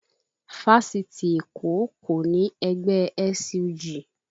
Fáṣitì Èkó kò ní ẹgbẹ́ SUG